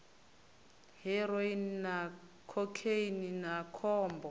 heroine na khokheini na khombo